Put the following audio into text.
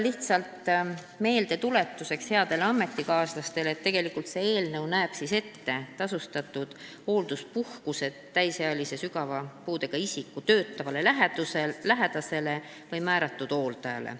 Lihtsalt meeldetuletuseks headele ametikaaslastele nii palju, et see eelnõu näeb ette tasustatud hoolduspuhkuse täisealise sügava puudega isiku töötavale lähedasele või määratud hooldajale.